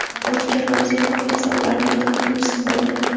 O‘tkir Roziqov esa ularning to‘rtinchisi bo‘ldi.